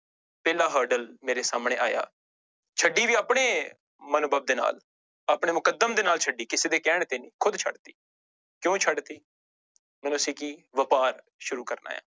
ਪਹਿਲਾ hurdle ਮੇਰੇ ਸਾਹਮਣੇ ਆਇਆ ਛੱਡਣੀ ਵੀ ਆਪਣੇ ਮਨਭਵ ਦੇ ਨਾਲ, ਆਪਣੇ ਮੁਕੱਦਮ ਦੇ ਨਾਲ ਛੱਡੀ ਕਿਸੇ ਦੇ ਕਹਿਣ ਤੇ ਨੀ ਖੁੱਦ ਛੱਡ ਦਿੱਤੀ, ਕਿਉਂ ਛੱਡ ਦਿੱਤੀ ਮੈਨੂੰ ਸੀ ਕਿ ਵਾਪਾਰ ਸ਼ੁਰੂ ਕਰਨਾ ਹੈ।